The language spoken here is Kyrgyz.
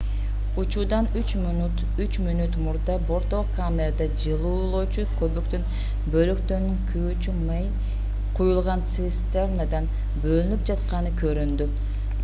учуудан 3 мүнөт мурда борттогу камерада жылуулоочу көбүктүн бөлүктөрүнүн күйүүчү май куюлган цистернадан бөлүнүп жатканы көрүндү